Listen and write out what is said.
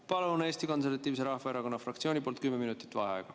Palun Eesti Konservatiivse Rahvaerakonna fraktsiooni nimel kümme minutit vaheaega.